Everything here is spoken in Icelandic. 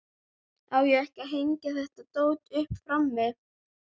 Á ég ekki að hengja þetta dót upp frammi?